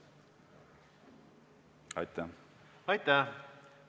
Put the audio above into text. Aitäh!